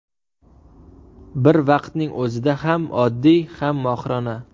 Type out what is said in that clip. Bir vaqtning o‘zida ham oddiy, ham mohirona.